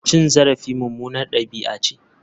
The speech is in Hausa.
Cin zarafi mummunar dabi'a ce.